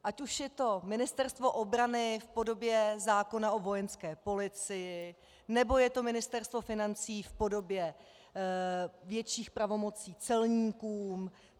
Ať už je to Ministerstvo obrany v podobě zákona o Vojenské policii, nebo je to Ministerstvo financí v podobě větších pravomocí celníkům.